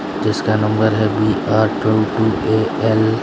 जिसका नंबर है B R A L --